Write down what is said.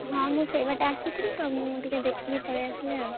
ହଁ ମୁଁ ସେଇ ପଟରେ ଆସୁଥିଲି ତ ମୁଁ ଟିକେ ଦେଖିକି ପଳେଇ ଆସିଲି ଆଉ।